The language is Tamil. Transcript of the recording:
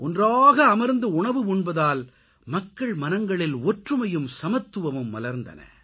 ஒன்றாக அமர்ந்து உணவு உண்பதால் மக்கள் மனங்களில் ஒற்றுமையும் சமத்துவமும் மலர்ந்தன